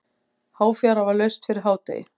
Háfjara var laust fyrir hádegi.